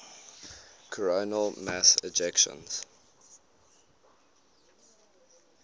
coronal mass ejections